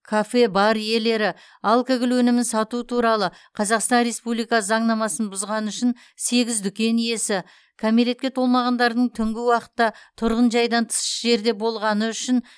кафе бар иелері алкоголь өнімін сату туралы қазақстан республика заңнамасын бұзғаны үшін сегіз дүкен иесі кәмелетке толмағандардың түнгі уақытта тұрғын жайдан тыс жерде болғаны үшін